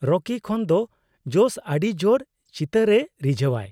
ᱨᱚᱠᱤ ᱠᱷᱚᱱ ᱫᱚ ᱡᱚᱥ ᱟᱹᱰᱤ ᱡᱳᱨ ᱪᱤᱛᱟᱹᱨᱮ ᱨᱤᱡᱷᱟᱹᱣᱟᱭ ᱾